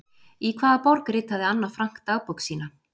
Í hvaða borg ritaði Anna Frank dagbók sína?